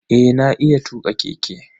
Eh na iya tuka keke.